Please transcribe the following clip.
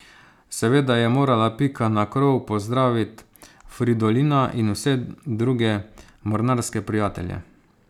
Seveda je morala Pika na krov pozdravit Fridolina in vse druge mornarske prijatelje.